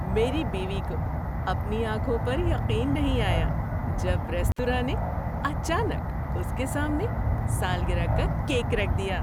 میری بیوی کو اپنی آنکھوں پر یقین نہیں آیا جب ریستوراں نے اچانک اس کے سامنے سالگرہ کا کیک رکھ دیا۔